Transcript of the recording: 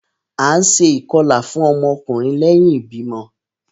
A ǹ ṣe ikọla fún ọmọ ọkunrin lẹhin ibimọ